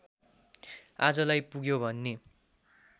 आजलाई पुग्यो भन्ने